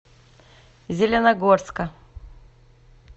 зеленогорска